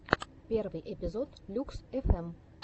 первый эпизод люкс фм